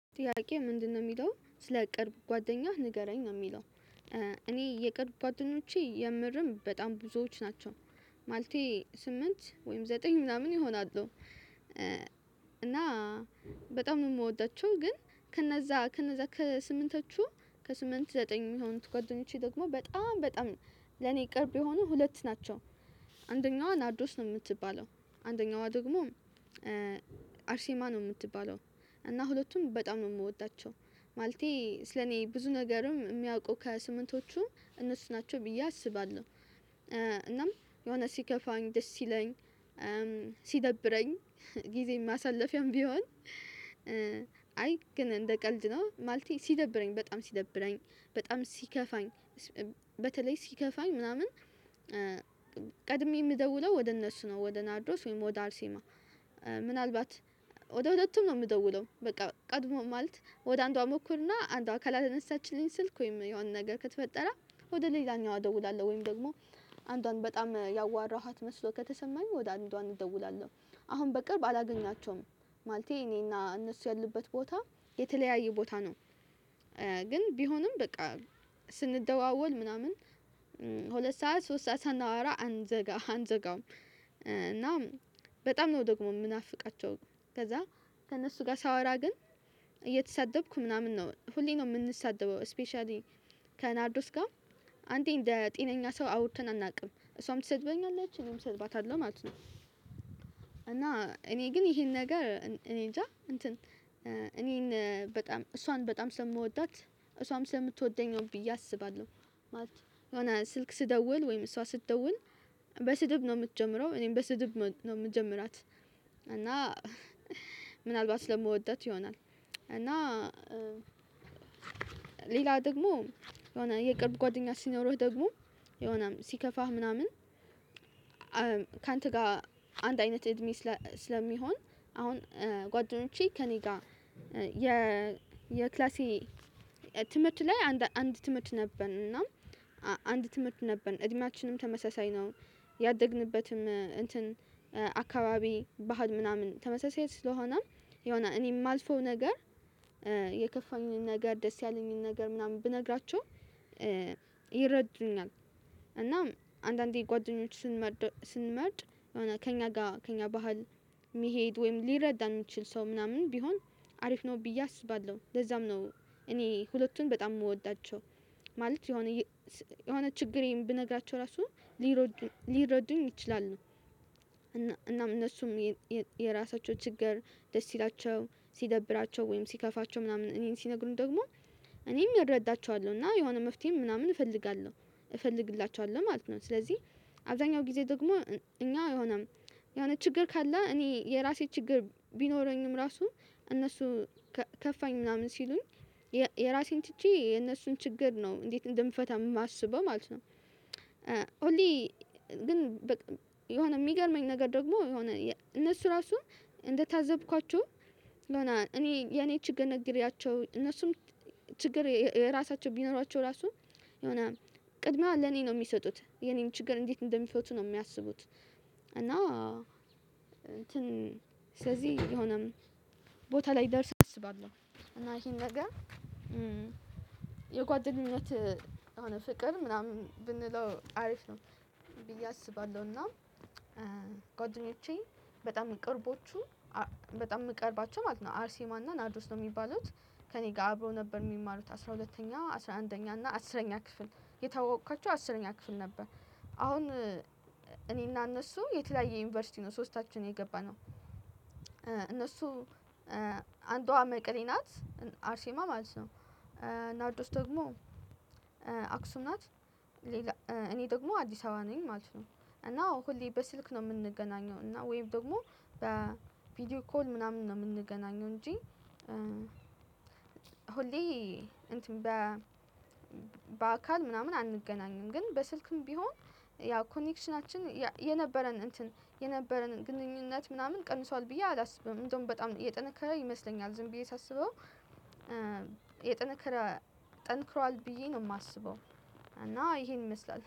ጥያቄ ምንድነው የሚለው ስለ ቅርብ ጓደኛህ ንገረኝ ነው የሚለው? እኔ የቅርብ ጓደኞቼ የምርም በጣም ብዙዎች ናቸው ማለቴ ስምንት ወይም ዘጠኝ ምናምን ይሆናሉ። እና በጣም የምወዳቸው ግን ከነዛ ከነዛ ከስምንቶቹ ከስምንት ዘጠኝ የሆኑት ጓደኞቼ ደግሞ በጣም በጣም ለኔ ቅርብ የሆኑ ሁለት ናቸው። አንደኛዋ ናርዶስ ነው የምትባለው አንደኛዋ ደግሞ አርሴማ ነው የምትባለው። እና ሁለቱንም በጣም ነው የምወዳቸው ማለቴ ስለኔ ብዙ ነገርም የሚያውቁ ከስምንቶቹ እነሱ ናቸው ብዬ አስባለሁ። እናም የሆነ ሲከፋኝ ደስ ሲለኝ ሲደብረኝ ጊዜን ማሳለፊያም ቢሆን። አይ ግን እንደ ቀልድ ነው ማለቴ ሲደብረኝ በጣም ሲደብረኝ በጣም ሲከፋኝ በተለይ ሲከፋኝ ምናምን ቀድሜ የምደውለው ወደ እነሱ ነው ወደ ናድሮስ ወይም ወደ አርሴማ። ምናልባት ወደ ሁለቱም ነው የምደውለው በቃ ቀድሞ ማለት ወደ አንዷ ሞክርና አንዷ ካላነሳችልኝ ስልክ ወይም የሆነ ነገር ከተፈጠረ ወደ ሌላኛዋ እደውላለሁ። ወይም ደግሞ አንዷን በጣም ያዋራኋት መስሎ ከተሰማኝ ወደ አንዷ እንደውላለን አሁን በቅርብ አላገኛቸውም ማለቴ እኔና እነሱ ያሉበት ቦታ የተለያየ ቦታ ነው። ግን ቢሆንም በቃ ስንደዋወል ምናምን ሁለት ሰዓት ሶስት ሰዓት ሳናወራ አንዘጋ አንዘጋውም። እና በጣም ነው ደግሞ የምናፍቃቸው ከዛ ከእነሱ ጋር ሳወራ ግን እየተሳደብኩ ምናምን ነው ሁሌም ነው የምንሳደበው። ስፔሻሊ ከናርዶስ ጋር አንዴ እንደ ጤነኛ ሰው አውርተን አናውቅም እሷም ትሰድበኛለች እኔም እሰድባታለሁ ማለት ነው። እና እኔ ግን ይሄን ነገር እኔንጃ እንትን እኔን በጣም እሷን በጣም ስለምወዳት እሷም ስለምትወደኝ ነው ብዬ አስባለሁ ማለት ነው የሆነ ስልክ ስደውል ወይም እሷ ስትደውል በስድብ ነው የምትጀምረው እኔም በስድብ ነው የምጀምራት። እና ምናልባት ስለምወዳት ይሆናል እና ሌላ ደግሞ የሆነ የቅርብ ጓደኛ ሲኖረህ ደግሞ የሆነ ሲከፋህ ምናምን ካንተ ጋር አንድ አይነት እድሜ ስለሚሆን አሁን ጓደኞቼ ከእኔ ጋር የ የክላሴ ትምህርት ላይ አንድ ትምህርት ነበርን እና አንድ ትምህርት ነበርን እድሜያችንም ተመሳሳይ ነው። ያደግንበትም እንትን አካባቢ ባህል ምናምን ተመሳሳይ ስለሆነም የሆነ እኔ የማልፈው ነገር የከፋኝን ነገር ደስ ያለኝን ነገር ምናምን ብነግራቸው ይረዱኛል። እናም አንዳንዴ ጓደኞች ስንመርጥ የሆነ ከእኛ ጋር ከእኛ ባህል የሚሄድ ወይም ሊረዳ የሚችል ሰው ምናምን ቢሆን አሪፍ ነው ብዬ አስባለሁ ለዛም ነው። እኔ ሁለቱን በጣም የምወዳቸው ማለት የሆነ የሆነ ችግሬን ብነግራቸው ራሱ ሊረዱኝ ይችላሉ። እናም እነሱም የራሳቸው ችግር ደስ ሲላቸው ሲደብራቸው ወይም ሲከፋቸው ምናምን እኔን ሲነግሩኝ ደግሞ እኔም እረዳቸዋለሁ እና የሆነ መፍትሄም ምናምን እፈልጋለሁ እፈልግላቸዋለሁ ማለት ነው። ስለዚህ አብዛኛው ጊዜ ደግሞ እኛ የሆነ የሆነ ችግር ካለ እኔ የራሴ ችግር ቢኖረኝም ራሱ እነሱ ከፋኝ ምናምን ሲሉኝ የራሴን ትቼ የእነሱን ችግር ነው እንዴት እንደምፈታ የማስበው ማለት ነው። ሁሌ ግን በቃ የሆነ የሚገርመኝ ነገር ደግሞ የሆነ እነሱ ራሱን እንደታዘብኳቸው የሆነ እኔ የኔን ችግር ነገርያቸው እነሱም ችግር የራሳቸው ቢኖሯቸው ራሱ የሆነ ቅድሚያ ለኔ ነው የሚሰጡት የኔን ችግር እንዴት እንደሚፈቱ ነው የሚያስቡት። እና እንትን ስለዚህ የሆነም ቦታ ላይ ደርሰህ አስባለሁ እና ይሄ ነገር የጓደኝነት የሆነ ፍቅር ምናምን ብንለው አሪፍ ነው ብዬ አስባለሁ። እና ጓደኞቼ በጣም ቅርቦቹ በጣም የምቀርባቸው ማለት ነው አርሴማና ናርዶስ ነው የሚባሉት ከእኔ ጋር አብረው ነበር የሚማሩት አስራ ሁለተኛ አስራ አንደኛ እና አስረኛ ክፍል የተዋወኳቸው አስረኛ ክፍል ነበር። አሁን እኔና እነሱ የተለያየ ዩኒቨርሲቲ ነው ሶስታችን የገባነው እነሱ አንዷ መቀሌ ናት። አርሴማ ማለት ነው ናርዶስ ደግሞ አክሱም ናት። እኔ ደግሞ አዲስ አበባ ነኝ ማለት ነው። እና ሁሌ በስልክ ነው የምንገናኘው እና ወይም ደግሞ በቪዲዮ ኮል ምናምን ነው የምንገናኘው እንጂ። ሆሌ እንትን በ በአካል ምናምን አንገናኝም ግን በስልክም ቢሆን ያው ኮኔክሽናችን የነበረን እንትን የነበረን ግንኙነት ምናምን ቀንሷል ብዬ አላስብም። እንደውም በጣም እየጠነከረ ይመስለኛል ዝም ብዬ ሳስበው የጠነከረ ጠንክሯል ብዬ ነው የማስበው። እና ይሄን ይመስላል